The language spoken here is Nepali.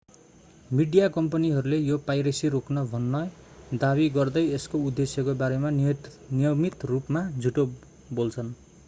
मिडिया कम्पनीहरूले यो पाइरेसी रोक्न भन्ने दावी गर्दै यसको उद्देश्यको बारेमा नियमित रूपमा झुटो बोल्छन्